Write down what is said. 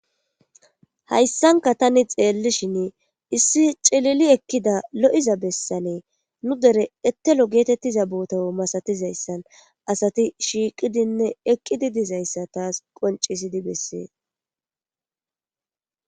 Hayssanka tani xeellishin issi cilili ekkida lo7iza bessanee nu dere ettelo geetettiza bootawo masatizayssan asati shiiqidinne eqqidi dizayssa taas qoncisidi bessees